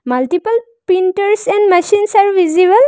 Multiple printers and machines are visible.